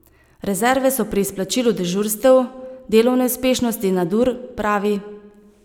Rezerve so pri izplačilu dežurstev, delovne uspešnosti in nadur, pravi.